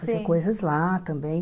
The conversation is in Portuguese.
Fazia coisas lá também.